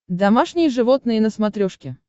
домашние животные на смотрешке